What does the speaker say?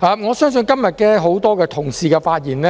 我相信今天很多同事的發言，